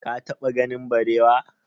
ka taɓa ganin barewa?